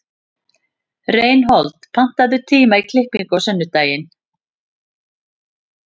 Reinhold, pantaðu tíma í klippingu á sunnudaginn.